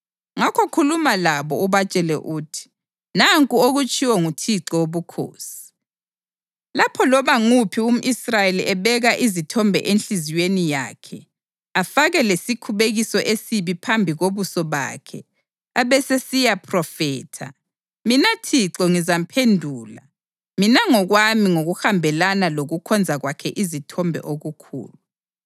Ngakho khuluma labo ubatshele uthi, ‘Nanku okutshiwo nguThixo Wobukhosi: Lapho loba nguphi umʼIsrayeli ebeka izithombe enhliziyweni yakhe, afake lesikhubekiso esibi phambi kobuso bakhe abesesiyaphrofetha, mina Thixo ngizamphendula mina ngokwami ngokuhambelana lokukhonza kwakhe izithombe okukhulu.